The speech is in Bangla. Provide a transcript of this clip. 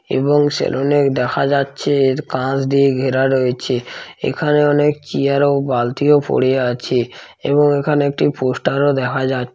এবং সেলুন -এ দেখা যাচ্ছে এর কাজ দিয়ে ঘেরা রয়েছে এখানে অনেক চায়ের ও বালতি ও পড়ে আছে এবং এখানে একটি পোস্টার ও দেখা যা--